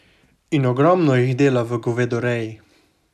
In ogromno jih dela v govedoreji.